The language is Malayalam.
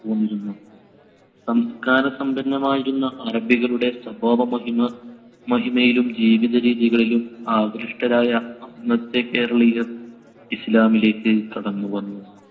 സംസ്‌കാരസമ്പന്നമായിരുന്ന അറബികളുടെ സ്വഭാവമഹിമ~ മഹിമയിലും ജീവിതരീതികളിലും ആകൃഷ്ടരായ അന്നത്തെ കേരളീയർ ഇസ്ലാമിലേക്ക് കടന്നു വന്നു.